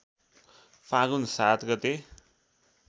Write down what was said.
फागुन ७ गते